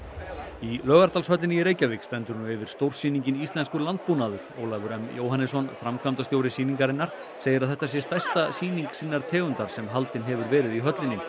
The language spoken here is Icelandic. í Laugardalshöllinni í Reykjavík stendur nú yfir stórsýningin Íslenskur landbúnaður Ólafur m Jóhannesson framkvæmdastjóri sýningarinnar segir að þetta sé stærsta sýning sinnar tegundar sem haldin hefur verið í höllinni